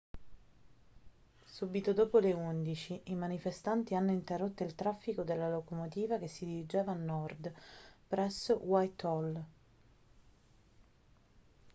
subito dopo le 11:00 i manifestanti hanno interrotto il traffico della locomotiva che si dirigeva a nord presso whitehall